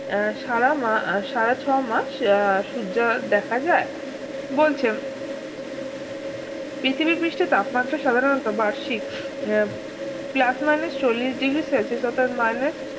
সারা মা সাড়ে ছয় মাস আহ সূর্য দেখা যায় বলছেন পৃথিবীপৃষ্ঠে তাপমাত্রা সাধারণত বার্ষিক উহ plus minus চল্লিশ degree celcius তার মানে